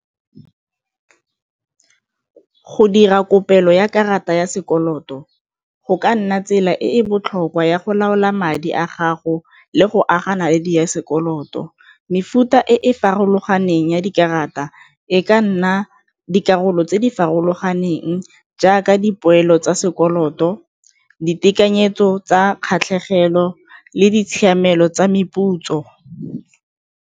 Go dira kopelo ya karata ya sekoloto go ka nna tsela e e botlhokwa ya go laola madi a gago le go aga naledi sekoloto. Mefuta e e farologaneng ya dikarata e ka nna dikarolo tse di farologaneng jaaka dipoelo tsa sekoloto, ditekanyetso tsa kgatlhegelo le ditshiamelo tsa meputso.